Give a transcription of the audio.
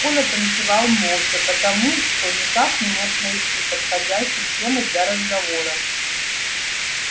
коля танцевал молча потому что никак не мог найти подходящей темы для разговора